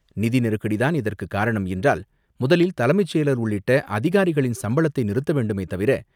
நிதி நெருக்கடி தான் இதற்கு காரணம் என்றால் முதலில் தலைமைச் செயலர் உள்ளிட்ட அதிகாரிகளின் சம்பளத்தை நிறுத்த வேண்டுமே தவிர,